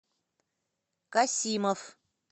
касимов